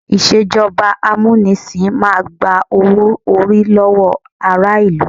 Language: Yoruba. Ìṣèjọba amúnisìn máa gba owó-orí lọ́wọ́ ará ìlú.